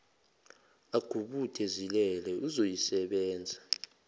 agubude zilele uzoyisebenza